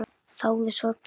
Þáði sorg þína.